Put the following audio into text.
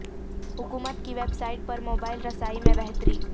حکومت کی website پر موبائل رسائی میں بہتری